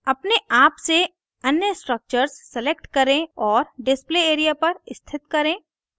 अपने आप से अन्य structures select करें और display area पर स्थित करें